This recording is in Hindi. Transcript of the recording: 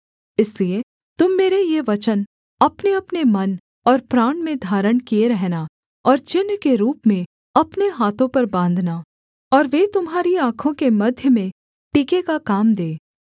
इसलिए तुम मेरे ये वचन अपनेअपने मन और प्राण में धारण किए रहना और चिन्ह के रूप में अपने हाथों पर बाँधना और वे तुम्हारी आँखों के मध्य में टीके का काम दें